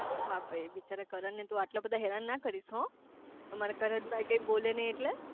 હા ભાઈ બિચારા કરણ ને આટલા બધા હેરાન ના કરીશ હો અમારા કરણ ભાઈ કઈ બોલે નાઈ એટલે